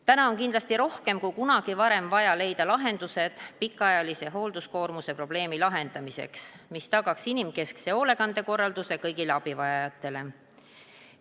Täna on kindlasti rohkem kui kunagi varem vaja leida pikaajalise hoolduskoormuse probleemi lahendamiseks lahendused, mis tagaks inimkeskse hoolekandekorralduse kõigile abivajajatele.